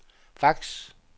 fax